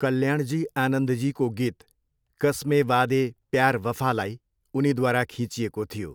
कल्याणजी आनन्दजीको गीत 'कसमे वादे प्यार वफा'लाई उनीद्वारा खिँचिएको थियो।